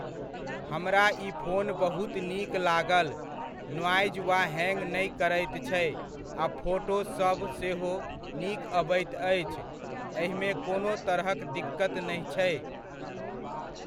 हमरा ई फोन बहुत नीक लागल, नॉइज वा हैङ्ग नहि करैत छै आ फोटो सभ सेहो नीक अबैत अछि, एहिमे कोनो तरहक दिक्कति नहि छै।